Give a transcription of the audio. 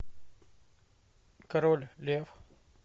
король лев